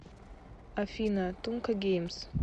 афина тумка геймс